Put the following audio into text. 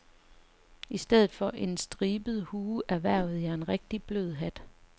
I stedet for en stribet hue erhvervede jeg en rigtig blød hat.